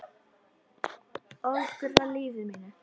Ögra lífi mínu.